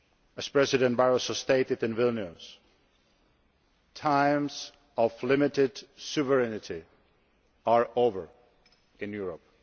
As President Barroso stated in Vilnius, times of limited sovereignty are over in Europe.